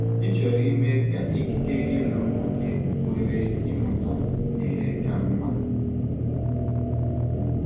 Ị̀ chọrọ ime ka ikike gị na ụmụ gị nwere ịmụta ihe ka mma?